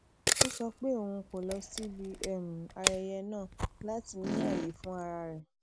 ó sọ pé òun kò lọ síbi um ayẹyẹ náà lati ni aaye fun ara re